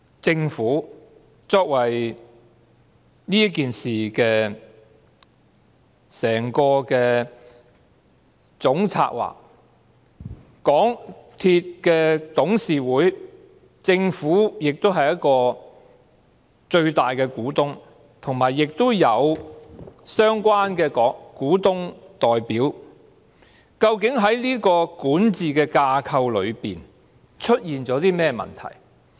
政府作為這事件的總策劃，它也是港鐵公司董事會的最大股東，亦有相關的股東代表，究竟在管治架構上出現了甚麼問題？